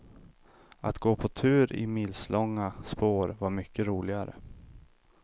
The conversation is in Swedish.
Att gå på tur i milslånga spår var mycket roligare.